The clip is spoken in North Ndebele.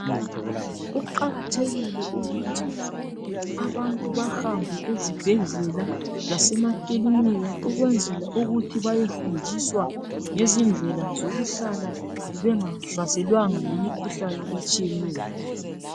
Kuqakathekile ukuthi abantu bahambe ezibhedlela lasemakilinika ukwenzela ukuthi bayefundiswa ngezindlela zokuhlala bengahlaselwanga yimikhuhlane etshiyeneyo